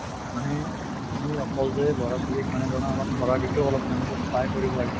মানে আমি অকল যে লʼৰা ছোৱালীক মানে ধৰা অলপ পঢ়া বিষয়েও অলপ তেওঁলোকক সহায় কৰিব লাগে